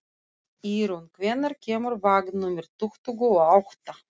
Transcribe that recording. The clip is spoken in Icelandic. Ýrún, hvenær kemur vagn númer tuttugu og átta?